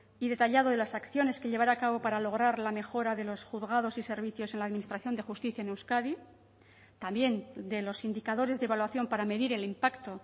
y detallado de las acciones que llevará a cabo para lograr la mejora de los juzgados y servicios en la administración de justicia en euskadi también de los indicadores de evaluación para medir el impacto